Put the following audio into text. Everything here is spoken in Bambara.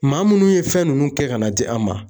Maa munnu ye fɛn nunnu kɛ ka n'a di an ma.